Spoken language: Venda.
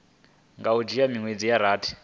nga dzhia miṅwedzi ya rathi